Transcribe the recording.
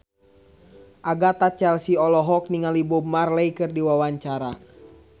Agatha Chelsea olohok ningali Bob Marley keur diwawancara